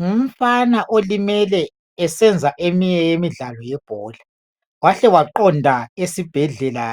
Ngumfana olimele esenza eminye yemidlalo yebhola wahle waqonda esibhedlela